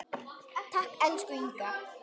Takk, elsku Inga.